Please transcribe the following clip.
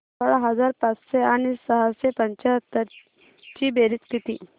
सोळा हजार पाचशे आणि सहाशे पंच्याहत्तर ची बेरीज किती